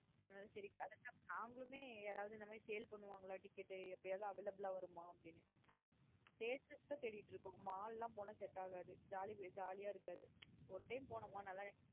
அதுனால சேரி நாங்களுமே யாராவது இந்த மாத்ரி sale பன்னுவங்களா. Ticket எப்பையது available லா வருமா அப்டின்னு theatre தான் தேடிட்டு இருக்கோம் mall ந போனா Set ஆகாது jolly jolly அஹ இருக்காது ஒரு time போனோமா நல்ல enjoy.